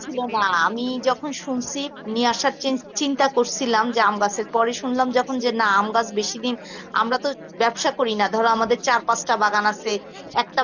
ছিল না আমি যখন শুনছি নিয়ে আসার চীন~ চিন্তা করছিলাম যে আম গাছের পরই শুনলাম যে না আমগাছ বেশি দিন আমরা তো ব্যবসা করি না যে আমাদের চারপাশটা বাগান আছে একটা